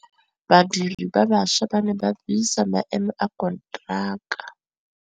Badiri ba baša ba ne ba buisa maêmô a konteraka.